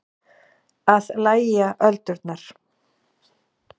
Að lægja öldurnar